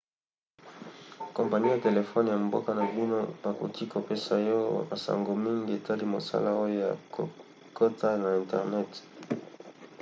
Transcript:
kompani ya telefone ya mboka na bino bakoki kopesa yo basango mingi etali mosala oyo ya kokota na internet